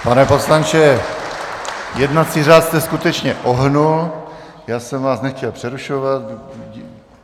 Pane poslanče, jednací řád jste skutečně ohnul, já jsem vás nechtěl přerušovat.